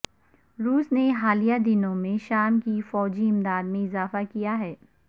روس نے حالیہ دنوں میں شام کی فوجی امداد میں اضافہ کیا ہے